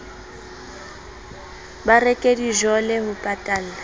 ba reke dijole ho patalla